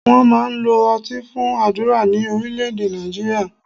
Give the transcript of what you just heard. Wọ́n máa ń lo ọtí fún àdúrà ní Orílẹ́èdè Nàìjíríà